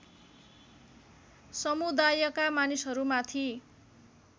समुदायका मानिसहरू माथि